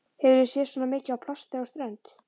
Hefurðu séð svona mikið af plasti á strönd?